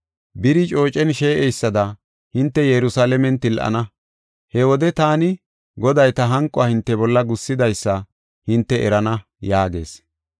Biri coocen shee7eysada hinte Yerusalaamen til7ana. He wode taani Goday ta hanquwa hinte bolla gussidaysa hinte erana’ ” yaagees.